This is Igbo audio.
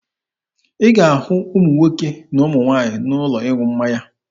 Ị ga-ahụ ụmụ nwoke na ụmụ nwaanyị n'ụlọ ịṅụ mmanya.